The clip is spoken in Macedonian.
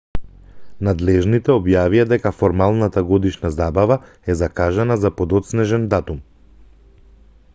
надлежните објавија дека формалната годишна забава е закажана за подоцнежен датум